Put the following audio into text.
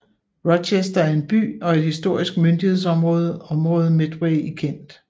Rochester er en by og et historisk myndighedsområde området Medway i Kent